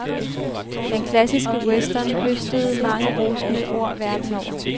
Den klassiske western høstede mange rosende ord verden over.